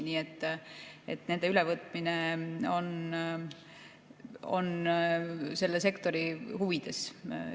Nii et nende ülevõtmine on kindlasti selle sektori huvides.